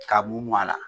Ka b'u a la